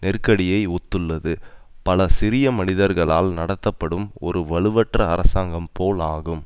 நெருக்கடியை ஒத்துள்ளது பல சிறிய மனிதர்களால் நடத்தப்படும் ஒரு வலுவற்ற அரசாங்கம் போல் ஆகும்